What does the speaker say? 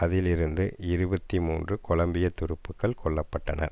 அதிலிருந்த இருபத்தி மூன்று கொலம்பியா துருப்புக்கள் கொல்ல பட்டனர்